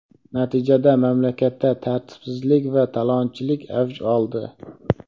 Natijada mamlakatda tartibsizlik va talonchilik avj oldi.